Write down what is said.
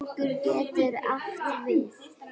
Hnjúkur getur átt við